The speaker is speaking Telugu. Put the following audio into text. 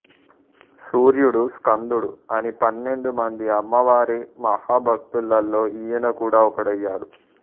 సూర్యుడు స్కందుడు అని పన్నెండుమంది అమ్మవారి మహాభక్తులలో ఈయన కూడా ఒకడయ్యాడు